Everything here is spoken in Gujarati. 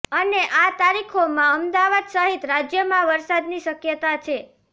અને આ તારીખોમાં અમદાવાદ સહિત રાજ્યમાં વરસાદની શક્યતા છે